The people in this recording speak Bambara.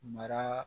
Mara